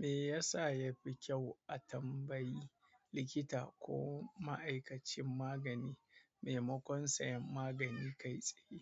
Me yasa yafi kyau a tambayi likita ko ma'aikacin magani memakon sayan magani kai tsaye?